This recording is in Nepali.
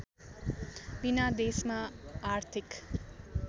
विना देशमा आर्थिक